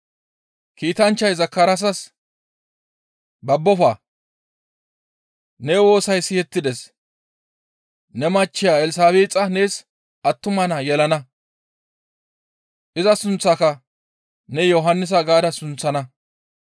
Kiitanchchay Zakaraasas, «Babbofa! Ne woosay seetettides; ne machcheya Elsabeexa nees attuma naa yelana; iza sunththaaka ne Yohannisa gaada sunththana.